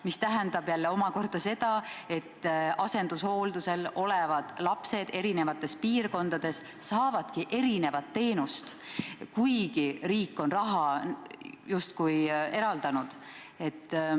See tähendab seda, et asendushooldusel olevad lapsed eri piirkondades saavad erinevat teenust, kuigi riik on raha justkui eraldanud.